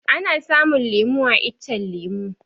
Ana samun lemu a iccen lemu